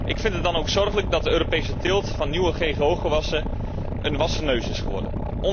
Ik vind het dan ook zorgelijk dat de Europese teelt van nieuwe ggo gewassen een wassen neus is geworden.